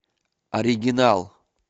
оригинал